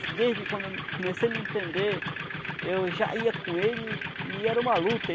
Desde quando eu comecei a me entender, eu já ia com ele e era uma luta.